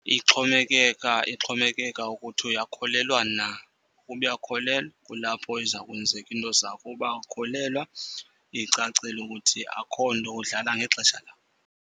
Ixhomekeka ukuthi uyakholelwa na. Ukuba uyakholelwa kulapho iza kwenzeka iinto zakho, uba awukholelwa icacile ukuthi akho nto, udlala ngexesha labo.